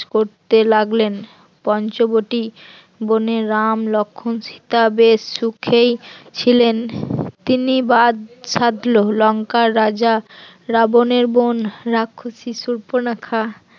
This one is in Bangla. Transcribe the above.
করতে লাগলেন পঞ্চবটি বোনে রাম লক্ষণ সীতা বেশ সুখেই ছিলেন, তিনি বাঁধ সাদ লঙ্কার রাজা রাবণের বোন রাক্ষসী সুর্পনখা